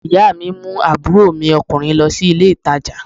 Ìyá mi mú àbúrò mi ọkùnrin lọ sí ilé ìtajà